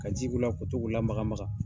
Ka ji k'ula ka to k'u lamakamaga